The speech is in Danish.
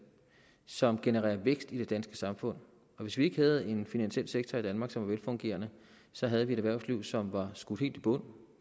som genererer vækst i det danske samfund hvis vi ikke havde en finansiel sektor i danmark som var velfungerende så havde vi et erhvervsliv som var skudt helt i bund